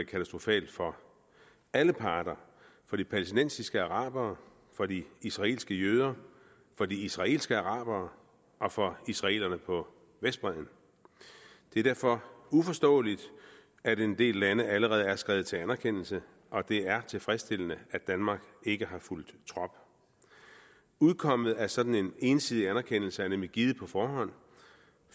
katastrofalt for alle parter for de palæstinensiske arabere for de israelske jøder for de israelske arabere og for israelerne på vestbredden det er derfor uforståeligt at en del lande allerede er skredet til anerkendelse og det er tilfredsstillende at danmark ikke har fulgt trop udkommet af sådan en ensidig anerkendelse er nemlig givet på forhånd